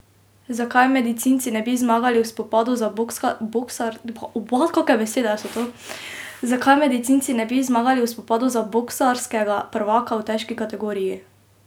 Zakaj medicinci ne bi zmagali v spopadu za boksarskega prvaka v težki kategoriji?